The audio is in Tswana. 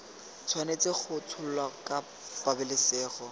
tshwanetse go tsholwa ka pabalesego